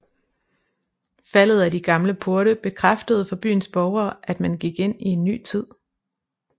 Faldet af de gamle porte bekræftede for byens borgere at man gik ind i en ny tid